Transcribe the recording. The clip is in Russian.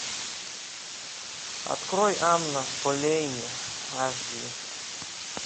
открой анна болейн аш ди